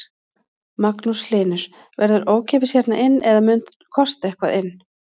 Magnús Hlynur: Verður ókeypis hérna inn eða mun kosta eitthvað inn?